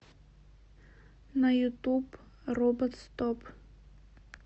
на ютуб робот стоп